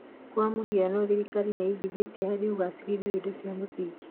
Kwa mũhiano, thirikari nĩ ĩgithĩtie harĩ ũgacĩrithia wa indo cia mũthingi